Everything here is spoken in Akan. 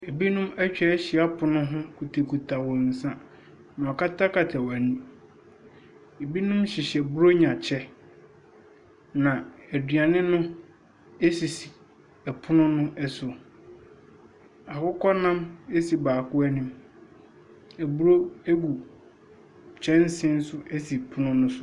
Ebinom etwa ehyia pono ho kutakuta wɔn sa. Wakatakata wɔn eni, ebinom hyehyɛ bronya kyɛ. Na eduane no, esisi ɛpono no ɛso, akokɔnam esi baako enim. Eburo egu kyɛnse so esi pono ne so.